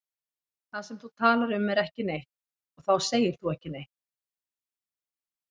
Það sem þú talar um er ekki neitt og þá segir þú ekki neitt.